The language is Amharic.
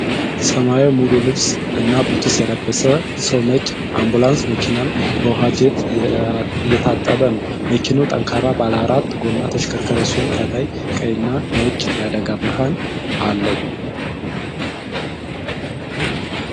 ሰማያዊ ሙሉ ልብስ እና ቡትስ የለበሰ ሰው ነጭ አምቡላንስ መኪናን በውሃ ጄት እየታጠበ ነው። መኪናው ጠንካራ ባለአራት ጎማ ተሽከርካሪ ሲሆን፣ ከላይ ቀይ እና ነጭ የአደጋ ብርሃን አለው።